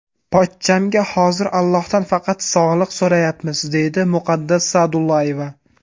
Pochchamga hozir Allohdan faqat sog‘liq so‘rayapmiz”, deydi Muqaddas Sa’dullayeva.